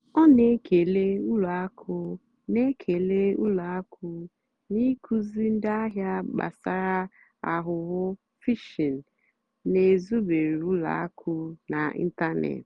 ọ́ nà-ékélè ùlọ àkụ́ nà-ékélè ùlọ àkụ́ nà-ákụ́zíì ndí àhìá gbàsàrà àghụ́ghọ́ phìshìng nà-èzùbérè ùlọ àkụ́ n'ị́ntánètị́.